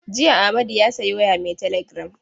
Jiya Amadu ya sayi waya mai teligiram.